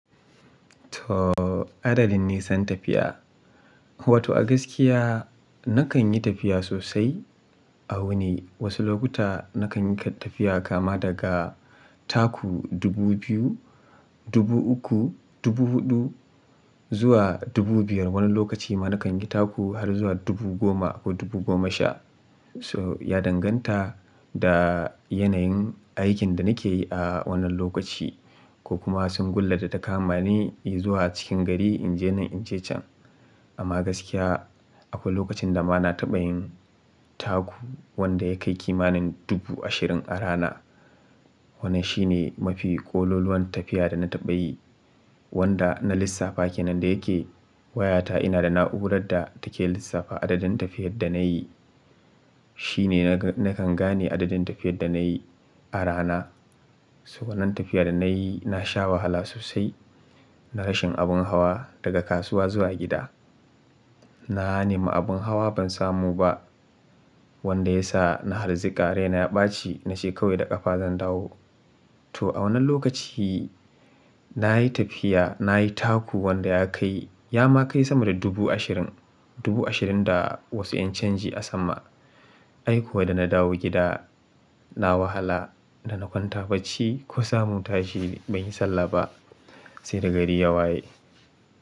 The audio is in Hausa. To adadin nisan tafiya. Wato a gaskiya nakan yi tafiya sosai a wuni. Wasu lokuta nakan yi tafiya kama daga taku dubu biyu, dubu uku, dubu huɗu zuwa dubu biyar. Wani lokaci ma nakan yi taku har zuwa dubu goma ko dubu goma sha. So ya danganta da yanayin aikin da nake yi a wannan lokaci, ko kuma sun gulla da ta kamani in zuwa cikin gari in je nan in je can. Amma gaskiya akwai lokacin da ma na taɓa yin taku wanda ya kai kimanin dubu ashirin a rana. Wannan shi ne mafi ƙololuwan tafiya da na taɓa yi, wanda na lissafa kenan, da yake Wayata ina da na'urar da take lissafa adadin tafiyar da na yi. Shi ne nakan gane adadin tafiyar da na yi a rana. To wannan tafiya da na yi na sha wahala sosai, na rashin abin hawa daga kasuwa zuwa gida. Na nemi abin hawa ban samu ba wanda ya sa na harziƙa raina ya ɓaci na ce kawai da ƙafa zan dawo. To a wannan lokaci, na yi tafiya, na yi taku wanda ya kai, ya ma kai sama da dubu ashirin, dubu ashirin da wasu ƴan canji a sama Ai kuwa da na dawo gida na wahala, da na kwanta bacci ko samu tashi ban yi sallah ba sai da gari ya waye.